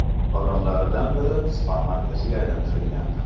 Vagonlaridan biri SPA markaziga aylantirilgan.